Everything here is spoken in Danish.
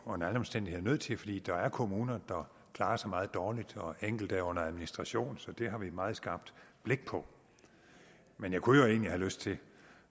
under alle omstændigheder nødt til fordi der er kommuner der klarer sig meget dårligt og enkelte er under administration så det har vi et meget skarpt blik på men jeg kunne jo egentlig have lyst til